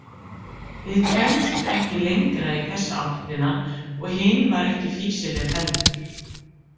Við kæmumst ekki lengra í þessa áttina, og hin var ekki fýsileg heldur.